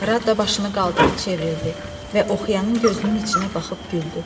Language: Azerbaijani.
Radda başını qaldırıb çevrildi və oxuyanın gözünün içinə baxıb güldü.